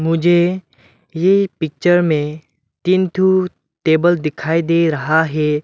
मुझे ये पिक्चर में तीन ठो टेबल दिखाई दे रहा है।